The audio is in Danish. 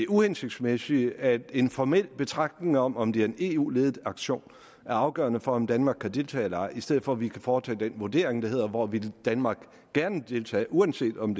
uhensigtsmæssigt at en formel betragtning om om det er en eu ledet aktion er afgørende for om danmark kan deltage eller ej i stedet for at vi kan foretage den vurdering der hedder hvor vil danmark gerne deltage uanset om